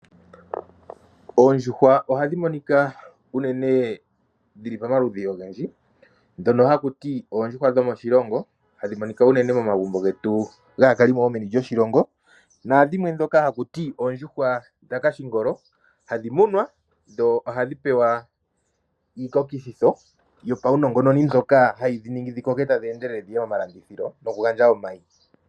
Oondjuhwa ohadhi monika dhili pamaludhi ogendji ndhoka hakuti oondjuhwa dhomoshilongo hadhi monika unene momagumbo getu dhaakalimo yomoshilongo. Oondjuhwa dhakashingolo hadhi munwa dho ihadhi pewa iikokitho yopashinongononi mbyono hayi dhiningi dhikoke dhiye momalandiho nokuninga omayi.